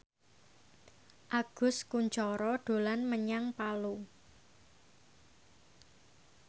Agus Kuncoro dolan menyang Palu